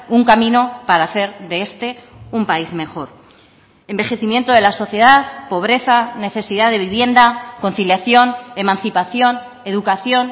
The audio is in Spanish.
un camino para hacer de este un país mejor envejecimiento de la sociedad pobreza necesidad de vivienda conciliación emancipación educación